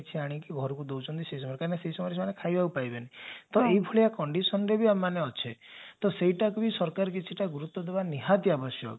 ଅନିକି ଘରକୁ ଦଉଛନ୍ତି ସେ ସମୟରେ କାହିଁ ନା ସେ ସମୟରେ ଜଣେ ଖାଇବାକୁ ପାଇବେନି ତ ଏଭଳିଆ condition ରେ ଆମେ ଏବେ ଅଛେ ତ ସେଇଟାକୁ ବି ସରକାର କିଛିଟା ଗୁରୁତ୍ବ ଦେବା ନିହାତି ଆବଶ୍ୟକ